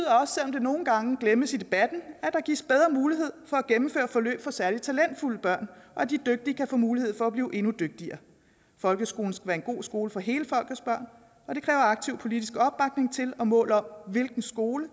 det nogle gange glemmes i debatten at der gives bedre mulighed for at gennemføre forløb for særligt talentfulde børn og at de dygtige kan få mulighed for at blive endnu dygtigere folkeskolen skal være en god skole for hele folkets børn og det kræver aktiv politisk opbakning til og mål om hvilken skole